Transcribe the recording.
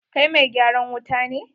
Kai mai gyaran wuta ne?